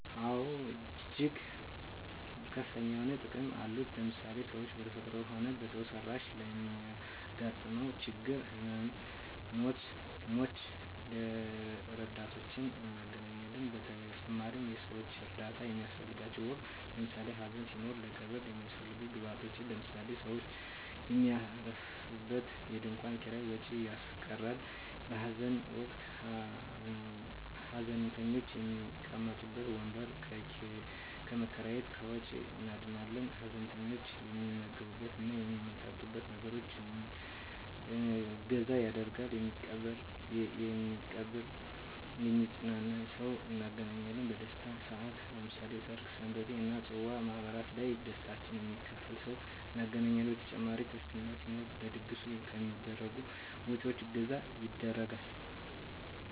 አወ እጅግ ከፍተኛ የሆኑ ጥቅሞች አሉት ለምሳሌ ሰው በተፈጥሮም ሆነ በሰው ሰራሽ ለሚያገጥመው ችግሮች ህመመ ሞች ረዳቶችን እናገኛለን በተጨማሪም የሰወች እርዳታ በሚያሰፈልገን ወቅት ለምሳሌ ሀዘን ሲኖር ለቀብር የሚያሰፈልጉ ግብአቶች ለምሳሌ ሰውች የሚያርፉበት የድንኮን ኪራይ ወጭ ያስቀራል በሀዘን ወቅት ሀዘንተኞች የሚቀመጡበት ወንበር ከመከራየት ከወጭ እንድናለን ሀዘንተኞች የሚመገብት እና የሚጠጡትን ነገሮች እገዛ ያደርጋሉ የሚቀብር የሚያጵናና ሰውን እናገኛለን በደስታም ሰአት ለምሳሌ በሰርግ ሰንበቴ እና የፅዋ ማህበራት ላይ ደስታችን የሚካፈል ሰው እናገኛለን በተጨማሪ ክርስትና ሲኖር ለድግሱ ከሚደረጉ ወጭወች እገዛ ይደረጋል።